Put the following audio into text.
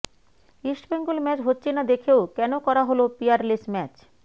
East Bengal match হচ্ছে না দেখেও কেন করা হল পিয়ারলেস ম্যাচ